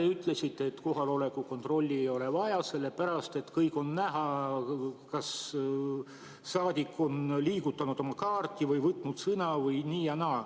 Te ütlesite, et kohaloleku kontrolli ei ole vaja, sellepärast et kõik on näha, kas saadik on liigutanud oma kaarti või võtnud sõna või nii ja naa.